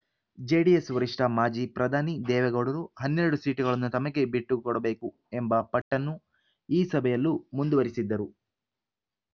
JDS ವರಿಷ್ಠ ಮಾಜಿ ಪ್ರಧಾನಿ ದೇವೇಗೌಡರು ಹನ್ನೆರಡು ಸೀಟುಗಳನ್ನು ತಮಗೆ ಬಿಟ್ಟುಕೊಡಬೇಕು ಎಂಬ ಪಟ್ಟನ್ನು ಈ ಸಭೆಯಲ್ಲೂ ಮುಂದುವರೆಸಿದ್ದರು